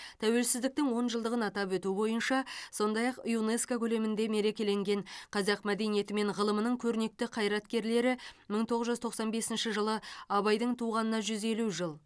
тәуелсіздіктің он жылдығын атап өту бойынша сондай ақ юнеско көлемінде мерекеленген қазақ мәдениеті мен ғылымының көрнекті қайраткерлері мың тоғыз жүз тоқсан бесінші жылы абайдың туғанына жүз елу жыл